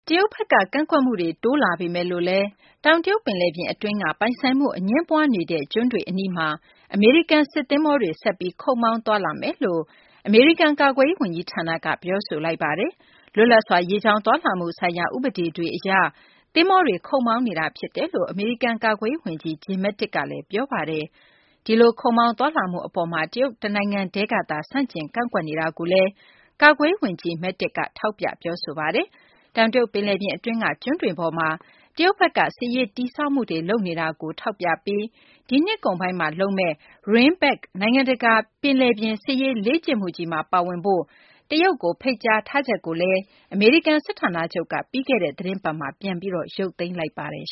တရုတ်ဘက်က ကန့်ကွက်မှုတွေ များလာပေမယ့်လည်း တောင်တရုတ် ပင်လယ်ပြင် အတွင်းက ပိုင်ဆိုင်မှု အငြင်းပွားနေတဲ့ ကျွန်းတွေအနီးမှာ အမေရိကန် စစ်သဘောၤတွေ ဆက်ပြီး ခုတ်မောင်း သွားလာမယ်လို့ အမေရိကန် ကာကွယ်ရေး ဝန်ကြီးဌာနက ပြောဆိုပါတယ်။ လွတ်လပ်စွာ ရေကြောင်းသွားလာမှုဆိုင်ရာ ဥပဒေတွေ အရ သဘောၤတွေ ခုတ်မောင်းနေတာဖြစ်ကြောင်း အမေရိကန် ကာကွယ်ရေး ဝန်ကြီး Jim Mattis က ပြောပါတယ်။ ဒီလို ခုတ်မောင်းသွားလာမှု အပေါ်မှာလည်း တရုတ်တနိုင်ငံတည်းကသာ ဆန့်ကျင် ကန့်ကွက်နေတာကိုလည်း ကာကွယ်ရေး ဝန်ကြီး Mattis က ထောက်ပြ ပြောဆိုပါတယ်။ တောင်တရုတ် ပင်လယ်ပြင် အတွင်းက ကျွန်းတွေပေါ်မှာ တရုတ်ဘက်က စစ်ရေးတည်ဆောက်မှုတွေ လုပ်နေတာကို အမေရိကန်ဘက်က ထောက်ပြပြီး ဒီနှစ်ကုန်ပိုင်းမှာ လုပ်မယ့် RIMPAC - နိုင်ငံတကာ ပင်လယ်ပြင် စစ်ရေးလေ့ကျင့်မှုကြီးမှာ ပါဝင်ဖို့ တရုတ်ကို ဖိတ်ကြားထားချက်ကို အမေရိကန် စစ်ဌာနချုပ်က ပြီးခဲ့တဲ့ သတင်းပတ်က ပြန်လည် ရုပ်သိမ်းလိုက်ပါတယ်